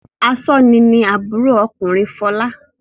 Aṣọ́ni ni àbúrò ọkùnrin Fọlá.